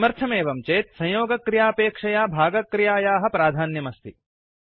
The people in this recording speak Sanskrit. किमर्थमेवं चेत् संयोगक्रियापेक्षया भगक्रियायाः प्राध्यान्यमस्ति